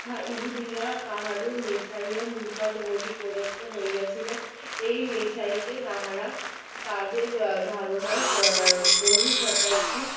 ইহুদিরা তাদের মেসাইয়া নিকট বলি প্রদত্ত হইয়াছিল তাহারা তাদের ধারণার বহু শতাব্দী